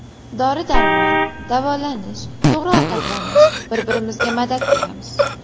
Dori-darmon, davolanish, to‘g‘ri ovqatlanish, bir-birimizga madad beramiz.